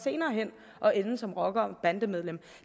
senere hen at ende som rocker og bandemedlemmer